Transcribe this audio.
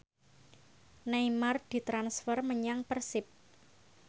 Neymar ditransfer menyang Persib